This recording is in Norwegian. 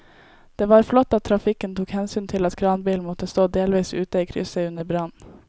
Det var flott at trafikken tok hensyn til at kranbilen måtte stå delvis ute i krysset under brannen.